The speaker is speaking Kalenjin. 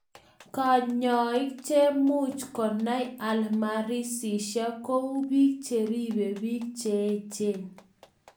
Kanyaik chemuch konai alzheimersishek kou piik cheripe piik cheechen